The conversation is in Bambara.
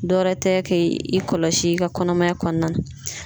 Dɔwɛrɛ tɛ k'i kɔlɔsi i ka kɔnɔmaya kɔnɔna na.